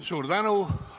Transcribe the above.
Suur tänu!